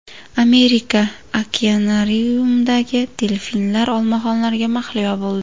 Amerika okeanariumida delfinlar olmaxonlarga mahliyo bo‘ldi .